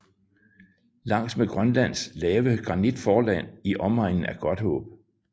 Langs med Grønlands lave granitforland i omegnen af Godthaab